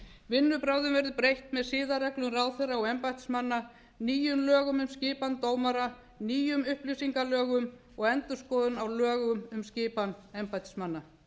vinnubrögðum verður breytt með siðareglum ráðherra og embættismanna nýjum lögum um skipan dómara nýjum upplýsingalögum og endurskoðun á lögum um skipan embættismanna